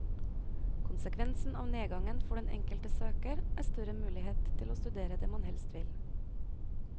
Konsekvensen av nedgangen for den enkelte søker er større mulighet til å studere det man helst vil.